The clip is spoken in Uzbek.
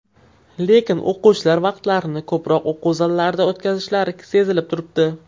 Lekin o‘quvchilar vaqtlarini ko‘proq o‘quv zallarida o‘tkazishlari sezilib turibdi.